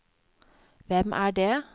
hvem er det